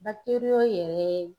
yɛrɛ